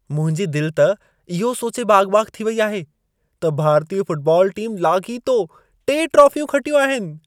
मुंहिंजी दिल त इहो सोचे बाग़-बाग़ थी वई आहे, त भारतीय फुटबॉल टीम लाॻीतो टे ट्रॉफियूं खटियूं आहिनि।